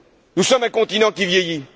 Nous sommes un continent qui vieillit.